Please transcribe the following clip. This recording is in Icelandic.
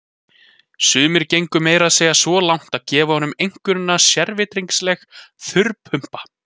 Sumir gengu meira að segja svo langt að gefa honum einkunnina sérvitringsleg þurrpumpa.